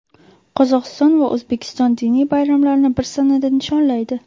Qozog‘iston va O‘zbekiston diniy bayramlarni bir sanada nishonlaydi.